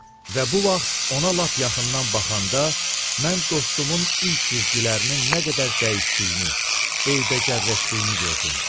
Və bu vaxt ona lap yaxından baxanda mən dostumun üz cizgilərinin nə qədər dəyişdiyini, eybəcərləşdiyini gördüm.